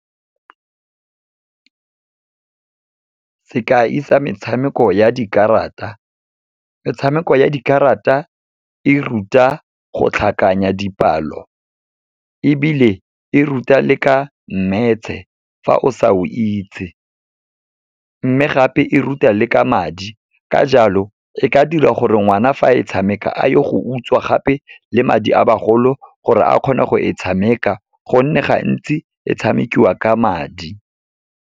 Sekai sa metshameko ya dikarata. Metshameko ya dikarata, e ruta go tlhakanya dipalo ebile e ruta le ka Maths-e, fa o sa o itse. Mme gape e ruta le ka madi, ka jalo e ka dira gore ngwana fa e tshameka a ye go utswa gape le madi a bagolo, gore a kgone go e tshameka, gonne gantsi e tshamekiwa ka madi.